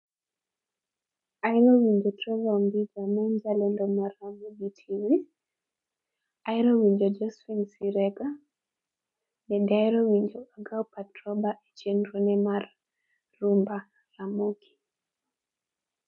Ahero winjo Trevor Ombija ma en jalendo mar Ramogi tv. Ahero winjo Josephine Sirega. Bende ahero winjo Agao Patroba e chenro ne mar, rumba Ramogi